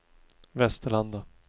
Västerlanda